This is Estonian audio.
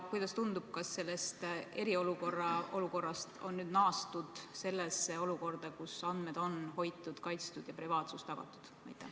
Kuidas teile tundub, kas eriolukorrast on nüüd naastud sellesse olukorda, kus andmed on hoitud ja kaitstud ning privaatsus tagatud?